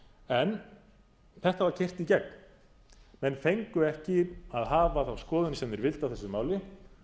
en þetta var keyrt í gegn menn fengu ekki að hafa þá skoðun sem þeir vildu á þessu máli